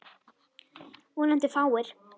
Vonandi fáir.